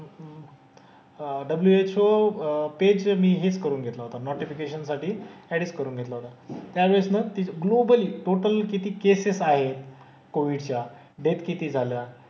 अह WHO page तर मी हेच करून घेतला होता नोटिफिकेशन साठी एडेड करून घेतला होता. त्यावेळेस ना एक ग्लोबल टोटल किती केसेस आहेत कोविडच्या, डेथ किती झाल्या,